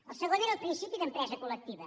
el segon era el principi d’empresa col·lectiva